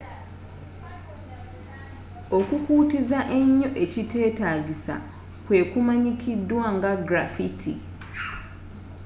okukuutiza ennyo ekitetaagisa kwe kumanyikiddwa nga graffiti